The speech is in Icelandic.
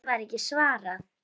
Því var ekki svarað.